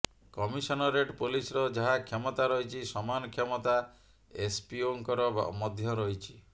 commissionerate ପୁଲିସର ଯାହା କ୍ଷମତା ରହିଛି ସମାନ କ୍ଷମତା ଏସପିଓଙ୍କର ମଧ୍ୟ ରହିଛି